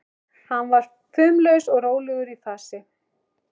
Hann var fumlaus og rólegur í fasi.